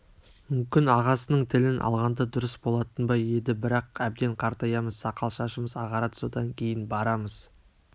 мүмкін ағасының тілін алғанда дұрыс болатын ба еді бірақ әбден қартаямыз сақал-шашымыз ағарады содан кейін барамыз